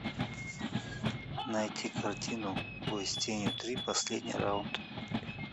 найти картину бой с тенью три последний раунд